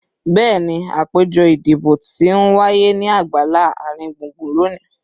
Bẹẹni, apejọ idibo ti n waye ni agbala aringbungbun loni